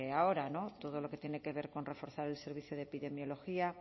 ahora todo lo que tiene que ver con reforzar el servicio de epidemiología